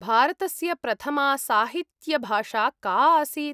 भारतस्य प्रथमा साहित्यभाषा का आसीत् ?